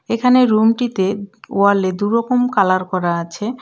এখানে রুম টিতে ওয়াল এ দু'রকম কালার করা আছে।